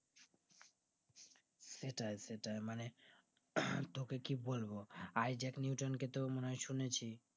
সেটাই সেটাই মানে তোকে কি বলবো isaac newton কে তো মনে হয় শুনেছিস